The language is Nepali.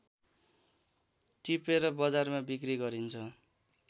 टिपेर बजारमा बिक्री गरिन्छ